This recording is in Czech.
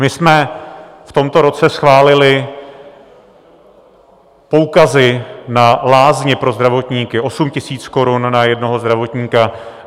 My jsme v tomto roce schválili poukazy na lázně pro zdravotníky, 8 000 korun na jednoho zdravotníka.